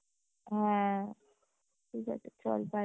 হ্যাঁ ঠিক আছে চল bye